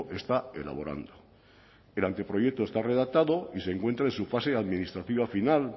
está elaborando el anteproyecto está redactado y se encuentra en su fase administrativa final